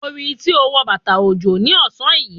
Mo rí i tí ó wọ bàtà òjò ní ọ̀sán yìí.